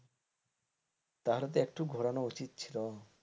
ভালো তো একটু ঘুরানো উচিত ছিল,